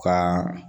Ka